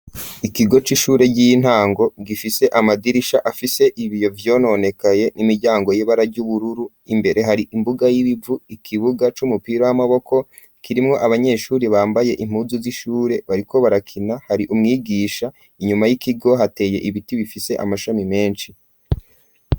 Ikigo c'ishure ry'intango rifise amadirisha afise ibiyo vyononekaye n'imiryango y'ibara ry'ubururu imbere hari imbuga y'ibivu ikibuga c'umupira w'amaboko kirimwo abanyeshuri bambaye impuzu z'ishure bariko barakina hari umwigisha inyuma y'ikigo hateye ibiti bifise amashami menshi.